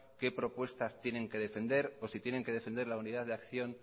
qué propuestas tienen que defender o si tienen que defender la unidad de acción